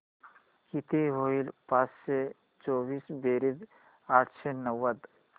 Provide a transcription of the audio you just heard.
किती होईल पाचशे चोवीस बेरीज आठशे नव्वद